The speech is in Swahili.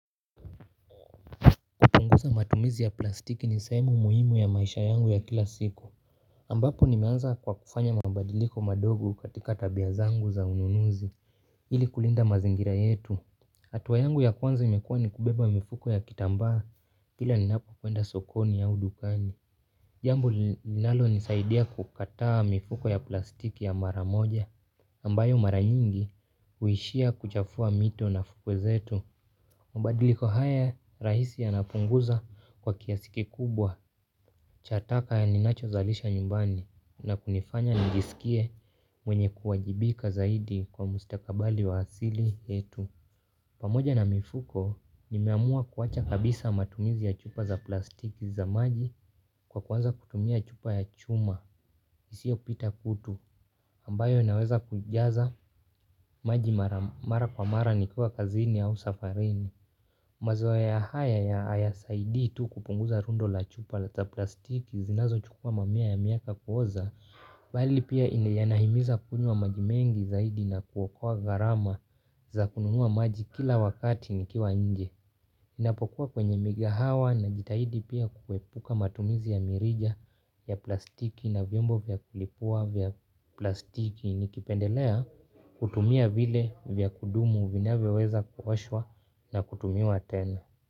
Matumizi ya plastiki ni sehemu muhimu ya maisha yangu ya kila siku ambapo nimeanza kwa kufanya mabadiliko madogo katika tabia zangu za ununuzi ili kulinda mazingira yetu hatua yangu ya kwanza imekuwa ni kubeba mifuko ya kitambaa. Kila ninapo kwenda sokoni au dukani jambo linalo nisaidia kukataa mifuko ya plastiki ya mara moja ambayo mara nyingi huishia kuchafua mito na fukwe zetu. Mabadiliko haya rahisi yanapunguza kwa kiasi kikubwa cha taka ya ninacho zalisha nyumbani na kunifanya nisikie mwenye kuwajibika zaidi kwa mustakabali wa asili yetu. Pamoja na mifuko nimeamua kuwacha kabisa matumizi ya chupa za plastiki za maji kwa kuanza kutumia chupa ya chuma isiyopita kutu ambayo naweza kujaza maji mara kwa mara nikiwa kazini au safarini. Mazoea haya hayasaidii tu kupunguza rundo la chupa za plastiki zinazo chukua mamia ya miaka kuoza bali pia yanahimiza kunywa majimengi zaidi na kuokoa gharama za kununua maji kila wakati nikiwa nje ninapokuwa kwenye migahawa najitahidi pia kuepuka matumizi ya mirija ya plastiki na vyombo vya kulipua vya plastiki nikipendelea kutumia vile vya kudumu vinayoweza kuoshwa na kutumiwa tena.